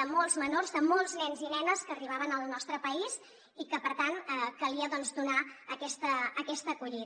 de molts menors de molts nens i nenes que arribaven al nostre país i que per tant calia doncs donar aquesta acollida